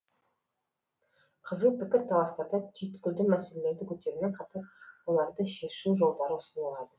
қызу пікірталастарда түйткілді мәселелерді көтерумен қатар оларды шешу жолдары ұсынылады